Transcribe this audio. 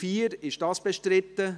Der Grosse Rat beschliesst: